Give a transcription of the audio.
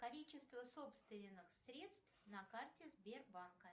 количество собственных средств на карте сбербанка